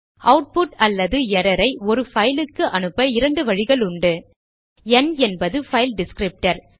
output அல்லது error ஐ ஒரு பைல் க்கு அனுப்ப இரண்டு வழிகளுண்டு ந் என்பது பைல் டிஸ்க்ரிப்டர்